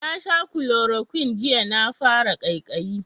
Na sha kulorokwin jiya na fara kaikayi